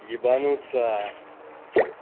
ебануться